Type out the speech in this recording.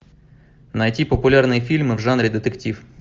найти популярные фильмы в жанре детектив